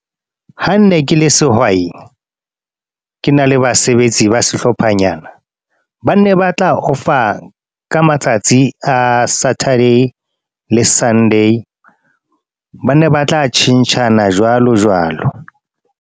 Ha nne ke le sehwai. Ke na le basebetsi ba sehlophanyana. Ba ne ba tla off-a ka matsatsi a Saturday le Sunday. Ba ne ba tla tjhentjhana jwalo jwalo.